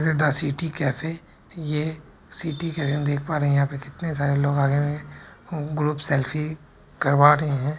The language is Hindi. द सिटी कैफ़े ये सिटी के है देख पा रहे है यहाँ पे कितने सारे लोग आ हुए है और ग्रुप सेल्फ़ी करवा रहे हैं।